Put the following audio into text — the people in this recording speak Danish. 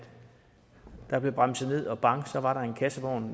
der blev bremset ned og bang var der en kassevogn